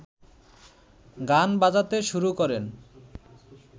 গান বাজাতে শুরু করেন